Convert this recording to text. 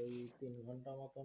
ওই তিন ঘন্টা মতো